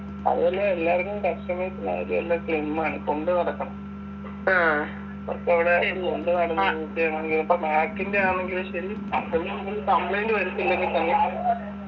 അതുപോലെ എല്ലാരിക്കും customers ന് ആയാലും എല്ലാം slim ആണ് കൊണ്ട്നടക്കണം അവർക്കവിടെ കൊണ്ടു നടന്ന് use എയ്യണം ഇനി ഇപ്പൊ MAC ൻ്റെ ആണെങ്കിലും ശരി complaint വരത്തില്ലെങ്കി തന്നെ